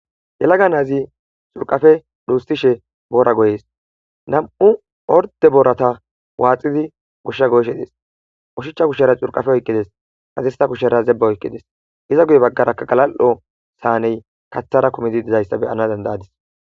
Yelaga naazi xurqafe dhuushishe boora goyees nam'u ordde boorata waaxidi gooshsha goyishe dees oshichcha kushara xurqafe oyqqides hadirssa kushara zebba oyqqides iza guye baggaraka galali'o saaney kaththara kummidii dizayssa beyana danddayadis